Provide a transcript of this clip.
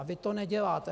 A vy to neděláte.